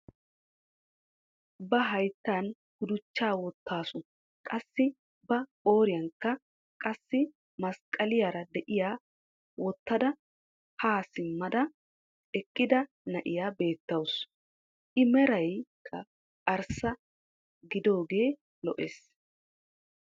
Ba hayttan guduchchaa woottaasu. qassi ba qooriyaankka qassi masqqaliyaara de'iyaa woottada haa simmada eqqida na'iyaa beettawus. i meraykka arssa gidaagee lo"ees.